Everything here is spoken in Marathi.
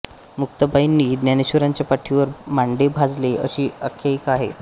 मुक्ताबाईंनी ज्ञानेश्वरांच्या पाठीवर मांडे भाजले अशी आख्यायिका आहे